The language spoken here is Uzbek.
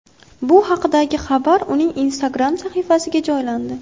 Bu haqdagi xabar uning Instagram sahifasiga joylandi .